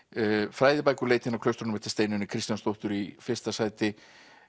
fræðibækur leitin að klaustrunum eftir Steinunni Kristjánsdóttur í fyrsta sæti